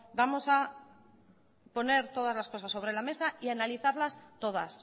vamos a poner todas las cosas sobre la mesa y analizarlas todas